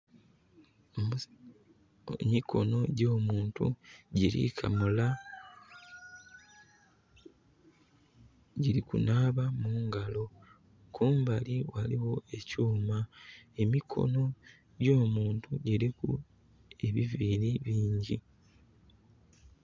Emikono gyo muntu giri kamula, giri kunaaba mungalo. Kumbali waliwo ekyuma. Emikono gyo muntu giri ku ebiviiri bingi